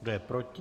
Kdo je proti?